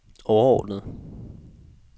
overordnede